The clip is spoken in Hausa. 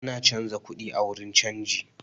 Ana canza kuɗi a wurin canji